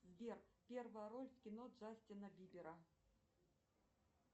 сбер первая роль в кино джастина бибера